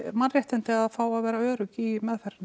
mannréttindi að fá að vera örugg í meðferðinni